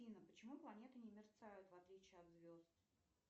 афина почему планеты не мерцают в отличии от звезд